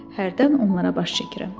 Hərdən onlara baş çəkirəm.